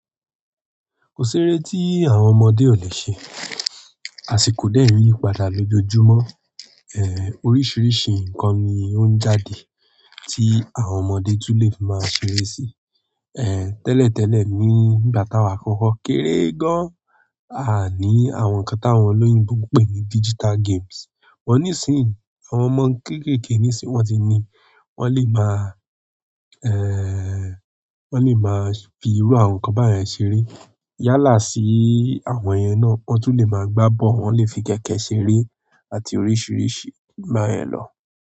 Kò sí eré tí àwọn ọmọdé ò lè ṣe. Àṣìkò de n yìí padà lójojúmọ́, oríṣìíríṣìí ǹkan ni ó ń jáde tí àwọn ọmọdé tún lè máa ṣeré sí. Tẹ́lẹ̀tẹ́lẹ̀ ní ìgbà táwà kókó kéré gan, àa ní àwọn ǹkan táwọn olóyìnbo ń pè ní digital games. Ṣùgbọ́n ní ìsinyi, àwọn ọmọ kéékèèké níìsínyi wọ́n ti ní, wọ́n lè máa, wọ́n lè máa fi irú àwọn ǹkan báyẹn ṣeré. Yálà sí àwọn ẹ̀yẹn náà, wọ́n tún lè máa gbá ball, wọ́n lè fi kẹ̀kẹ́ ṣeré àti oríṣìíríṣìí báyẹn lọ.